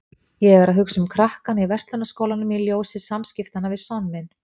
Ég er að hugsa um krakkana í Verslunarskólanum í ljósi samskiptanna við son minn.